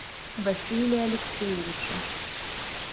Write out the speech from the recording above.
василия алексеевича